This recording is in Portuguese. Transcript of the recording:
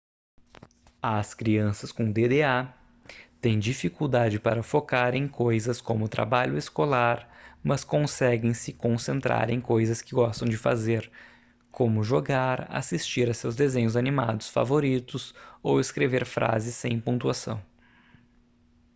as crianças com dda têm dificuldade para focar em coisas como trabalho escolar mas conseguem se concentrar em coisas que gostam de fazer como jogar assistir a seus desenhos animados favoritos ou escrever frases sem pontuação